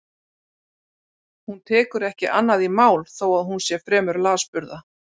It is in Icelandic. Hún tekur ekki annað í mál þó að hún sé fremur lasburða.